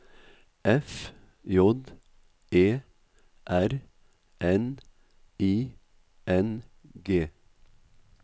F J E R N I N G